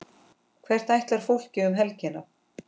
Hvert ætlar fólk um helgina?